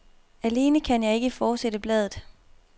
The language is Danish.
Alene kan jeg ikke fortsætte bladet.